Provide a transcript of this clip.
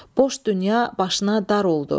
Boş dünya başına dar oldu.